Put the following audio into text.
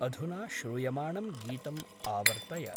अधुना श्रूयमाणं गीतम् आवर्तय।